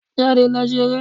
Jáde lọ ṣeré.